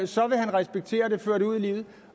så vil han respektere det og føre det ud i livet